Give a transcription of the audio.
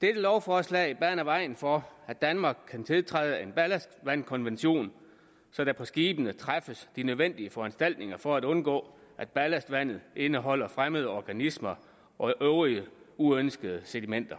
dette lovforslag baner vejen for at danmark kan tiltræde en ballastvandkonvention så der på skibene træffes de nødvendige foranstaltninger for at undgå at ballastvandet indeholder fremmede organismer og øvrige uønskede sedimenter